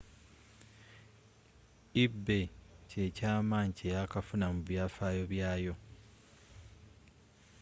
ebay kyekyamanyi kyeyakafuna mu byafaayo byaayo